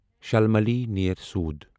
شالمالی نیر سۄدٕ